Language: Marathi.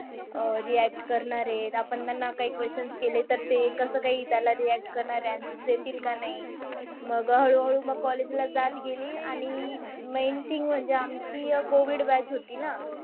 अह React करणारे. आपण त्यांना काही questions केले, तर ते कसं काही त्याला react करणारे त्याला answers देतील की नाही? मग हळूहळू मग college ला जात गेली. आणि main thing म्हणजे आमची COVID batch होती ना.